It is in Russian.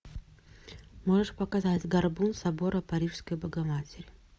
можешь показать горбун собора парижской богоматери